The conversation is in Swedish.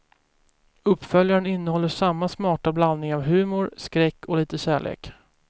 Uppföljaren innehåller samma smarta blandning av humor, skräck och lite kärlek.